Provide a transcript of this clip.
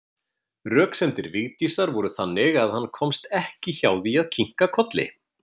Röksemdir Vigdísar voru þannig að hann komst ekki hjá því að kinka kolli.